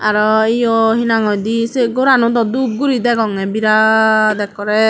aro yo hinang hoidey se gorano dub guri degongey biraat ekkorey.